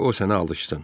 Qoy o sənə alışsın.